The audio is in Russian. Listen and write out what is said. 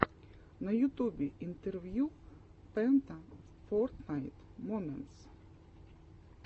на ютубе интервью пента фортнайт моментс